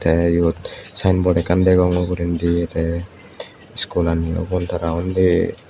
tey iyot sayenbot ekkan degong ugurendi tey iskulaniyo ubun tara undi.